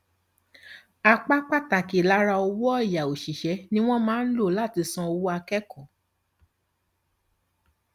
apá pàtàkì lára owó ọyà òṣìṣẹ ni wọn máa ń lò láti san owó akẹkọọ